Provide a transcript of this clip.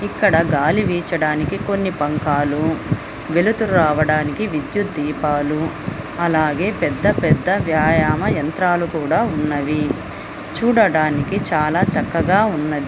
ఇక్కడ గాలి వీచడానికి కొన్ని బంకాలు వెలుతురు రావడానికి విద్యుత్ దీపాలు అలాగే పెద్ద పెద్ద వ్యాయామ యంత్రాలు కూడా ఉన్నవి. చూడడానికి చాలా చక్కగా ఉన్నది.